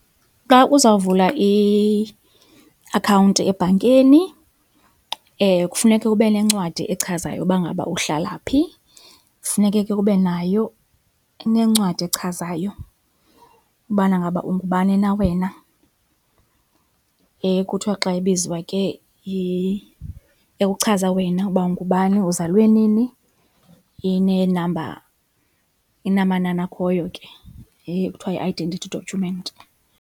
Xa uzawuvula i-akhawunti ebhankeni kufuneke ube nencwadi echazayo uba ngaba uhlala phi. Funeke ke ube nayo nencwadi echazayo ubana ngaba ungubani na wena, kuthiwa xa ibizwa ke , ewe uchaza wena uba ungubani, uzalwe nini, ineenamba, inamanani akhoyo ke, iye kuthiwa yi-identity document.